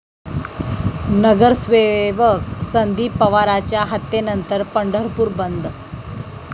नगरसेवक संदीप पवारच्या हत्येनंतर पंढरपूर बंद